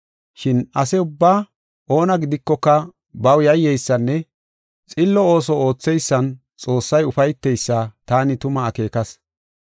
Shin ase ubbaa oona gidikoka baw yayyeysanne xillo ooso ootheysan Xoossay ufayteysa taani tuma akeekas.